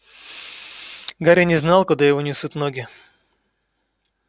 гарри не знал куда его несут ноги